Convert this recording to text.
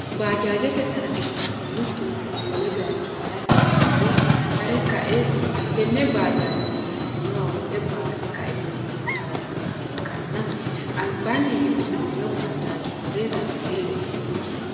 bajajette tarra ikanna mittu manchi wolle bayicho harate hasirirro hare ka'e hattenne bajajenni hasirinnowa woxxe baate ka'eenitinni haranoha ikanna alibaani higge uuritino bajaje mulle zanbiile afantano.